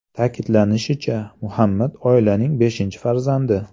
Ta’kidlanishicha, Muhammad oilaning beshinchi farzandi.